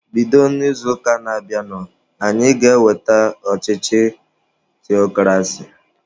Bido n'izuụka na-abịanụ anyị ga-eweta ọchịchị theokrasi!